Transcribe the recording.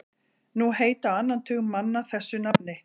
Nú heita á annan tug manna þessu nafni.